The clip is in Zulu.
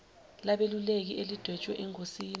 labeluleki elidwetshwe engosini